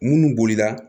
Munnu bolila